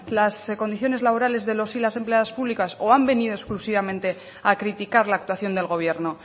las condiciones laborales de los y las empleadas públicas o han venido exclusivamente a criticar la actuación del gobierno